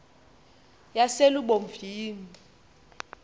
yaselubomvini